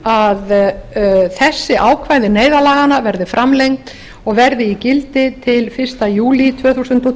að þessi ákvæði neyðarlaganna verði framlengd og verði í gildi til fyrsta júlí tvö þúsund og